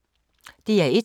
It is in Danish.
DR1